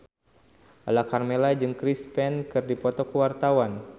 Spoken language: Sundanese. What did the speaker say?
Lala Karmela jeung Chris Pane keur dipoto ku wartawan